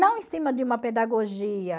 Não em cima de uma pedagogia.